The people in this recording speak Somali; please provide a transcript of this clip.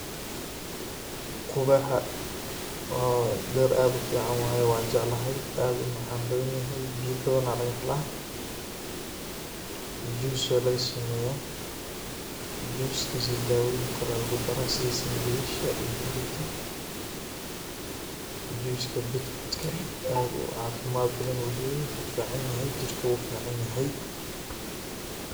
Qubaxa oo dir aad u fican waye waan jeclahay and u macan badanyahay biya badana lagahela. juice aa lagasameya juice kiisa daboyin kale lagu dara sida sanjabisha iyo huruda juice ka beetroot ka aad u caafimad badan u leyahay wuu ficanyahay jirku u ficanyahay.